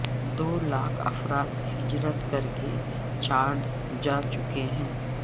دو لاکھ افراد ہجرت کر کے چاڈ جا چکے ہیں